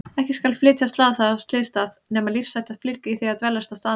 Ekki skal flytja slasaða af slysstað nema lífshætta fylgi því að dveljast á staðnum.